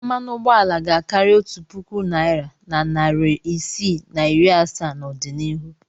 Mmanụ ụgbọala ga-akarị otu puku naịra na narị isii na iri asaa n'ọdịnihu.